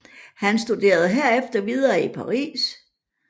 Han studerede herefter videre i Paris